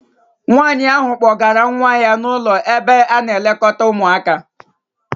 Nwaanyi ahụ kpọgara nwa ya n'ụlọ ebe a na-elekọta ụmụaka.